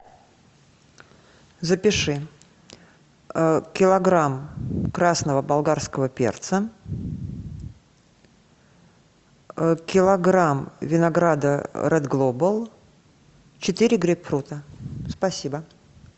запиши килограмм красного болгарского перца килограмм винограда ред глобал четыре грейпфрута спасибо